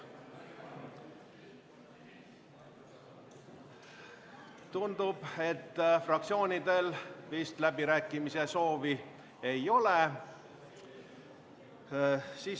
Tundub, et fraktsioonidel läbirääkimiste soovi ei ole.